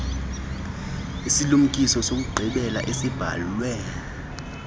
isilumkiso sokugqibela esibhalwe